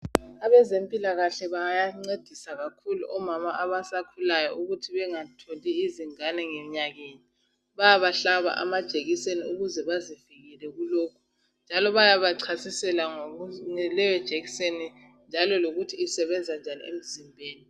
Abezempilakahle bayancedisa kakhulu omama abasakhulayo ukuthi bengatholi izingane ngenyakenye bayabahlaba amajekiseni ukuze bazivikele kulokhu njalo bayabachasisela ngaleyo jekiseni njalo lokuthi isebenza njani emzimbeni.